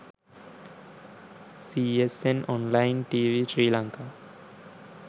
csn online tv sri lanka